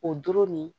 O doro nin